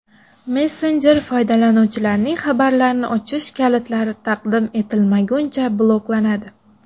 Messenjer foydalanuvchilarning xabarlarini ochish kalitlari taqdim etilmaguncha bloklanadi.